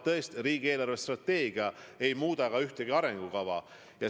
Riigi eelarvestrateegia ei muuda ühtegi arengukava.